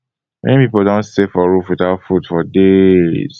many people don stay for roof witout food for days